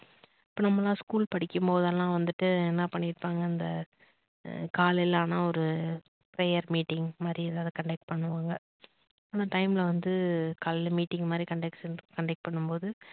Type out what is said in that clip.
அப்ப நம்பலாம் school படிக்கும்போதெல்லாம் வந்துட்டு என்ன பண்ணி இருப்பாங்க அந்த காலையில ஆனா ஒரு prayer meeting மாதிரி ஏதோ ஒரு conduct பண்ணுவாங்க அந் time வந்து காலைல meeting மாதிரி conduct பண்ணும்போது